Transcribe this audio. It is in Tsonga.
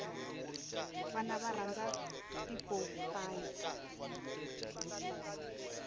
vana va rhandza tipopayi